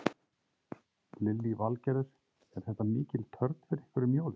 Lillý Valgerður: Er þetta mikil törn fyrir ykkur um jólin?